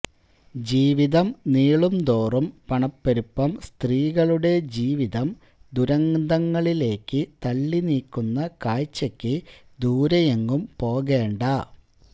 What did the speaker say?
ജീവിതം നീളുന്തോറും പണപ്പെരുപ്പം സ്ത്രീകളുടെ ജീവിതം ദുരന്തങ്ങളിലേക്കു തള്ളി നീക്കുന്ന കാഴ്ചയ്ക്ക് ദൂരെയെങ്ങും പോകേണ്ട